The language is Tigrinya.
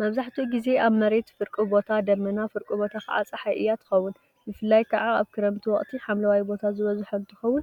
መብዛሕትኡ ግዜ መሬት ፍርቁ ቦታ ደመና ፍርቁ ቦታ ከዓ ፀሓይ እያ ትኸውን፡፡ ብፍላይ ከዓ አብ ክረምቲ ወቅቲ ሓምለዋይ ቦታ ዝበዝሖ እንትኸውን፣